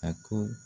A ko